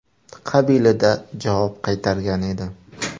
”, qabilida javob qaytargan edi.